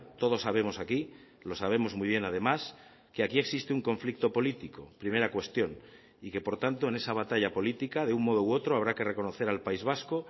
todos sabemos aquí lo sabemos muy bien además que aquí existe un conflicto político primera cuestión y que por tanto en esa batalla política de un modo u otro habrá que reconocer al país vasco